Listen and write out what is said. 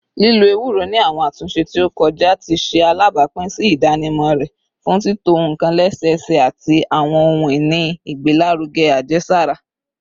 Lilo ewuro ni awọn atunṣe ti o kọja ti ṣe alabapin si idanimọ rẹ fun tito nkan lẹsẹsẹ ati awọn ohun-ini igbelaruge ajesara.